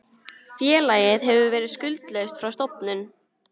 Félagið hefur verið skuldlaust frá stofnun